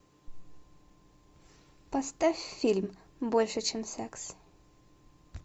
поставь фильм больше чем секс